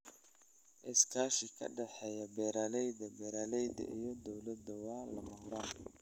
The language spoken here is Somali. Iskaashi ka dhexeeya beeralayda, beeraleyda, iyo dawladda waa lama huraan.